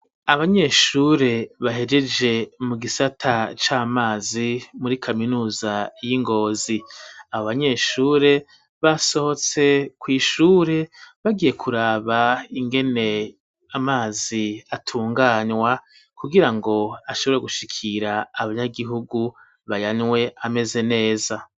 Abanyeshure bahegeje mu gisata c'amazi muri kaminuza y'ingozi, abo banyeshure basohotse mw'ishure bagiye kuraba ingene amazi atunganywa kugira ngo ashobora gushikira abanyagihugu bayanywe ameze neza.